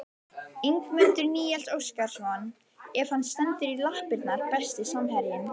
Ingimundur Níels Óskarsson ef hann stendur í lappirnar Besti samherjinn?